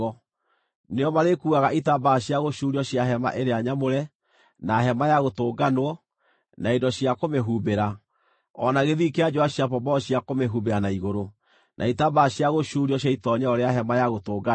Nĩo marĩkuuaga itambaya cia gũcuurio cia Hema-ĩrĩa-Nyamũre, na Hema-ya-Gũtũnganwo, na indo cia kũmĩhumbĩra, o na gĩthii kĩa njũũa cia pomboo cia kũmĩhumbĩra na igũrũ, na itambaya cia gũcuurio cia itoonyero rĩa Hema-ya-Gũtũnganwo,